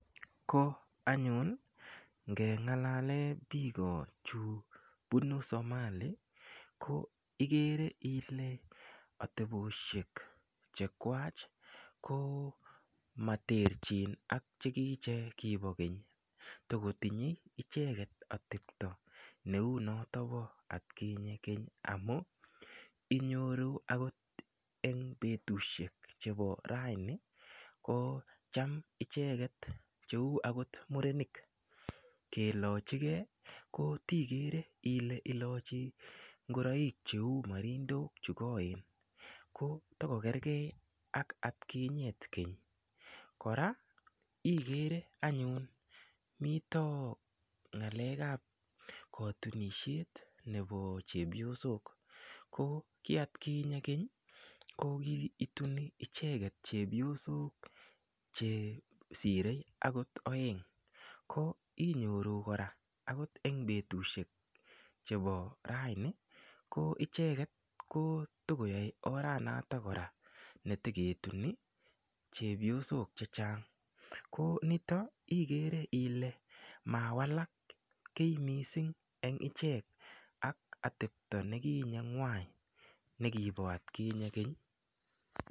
Ko anyun ngengalale biiko chu punu Somali ko igere ile ateposhek che kwach komaterchin ak chekiche kipo keny tokotinyei icheket atepto neu noto bo atkinye keny amu inyoru akot eng betushek chebo raini ko cham icheket cheu akot murenik kelochikee ko tigere ile ilochi ngoroik cheu marindok chekoen ko tokokerkei ak atkinyet keny kora igere anyun mito ng'alek ap kotunishet nebo chepyosok ko kiatkinye keny ko kiituni icheket chepyosok chesirei akot oeng ko inyoru kora akot eng betushek chebo raini ko icheket ko tokoyoe oranatak kora neteketuni chepyosok che chang ko nitok igere ile mawalak kiy mising eng ichek ak atepto nekinye ng'wai nekipo atkinye keny.